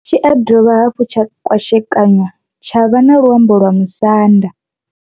Tshi ya dovha hafhu tsha kwashekanyiwa tsha vha na luambo lwa Musanda.